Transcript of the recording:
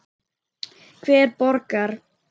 Hver borgar?